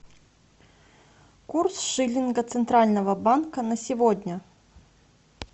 курс шиллинга центрального банка на сегодня